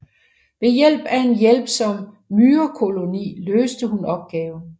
Ved hjælp af en hjælpsom myrekoloni løste hun opgaven